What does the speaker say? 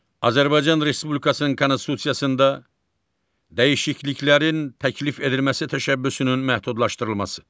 Azərbaycan Respublikasının Konstitusiyasında dəyişikliklərin təklif edilməsi təşəbbüsünün məhdudlaşdırılması.